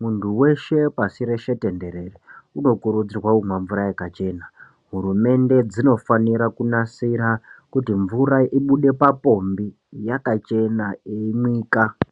muntu weshe pashi reshe tenderere unokurudzirwa kumwa mvura yakachena hurumende dzinofanira kunasira kuti mvura ibude papombi yakachena yeimwika.